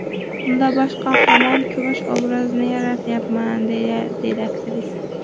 Unda bosh qahramon Kumush obrazini yaratyapman”, deydi aktrisa.